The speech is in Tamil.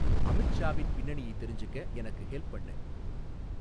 அமித்ஷாவின் பின்னணியை தெரிஞ்சிக்க எனக்கு ஹெல்ப் பண்ணு